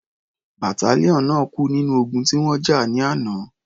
Battalion náà kú nínú ogun tí wọ́n jà ní àná.